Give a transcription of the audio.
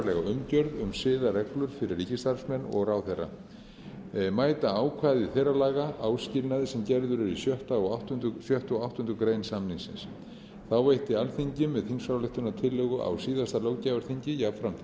umgjörð um siðareglur fyrir ríkisstarfsmenn og ráðherra mæta ákvæði þeirra laga áskilnaði sem gerður er í sjötta og áttundu grein samningsins þá veitti alþingi með þingsályktunartillögu á síðasta löggjafarþingi jafnframt